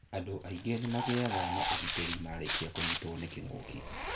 Andũ aingĩ nĩmagĩaga ũgĩtĩri marĩkia kũnyĩtwo nĩ kĩngũki.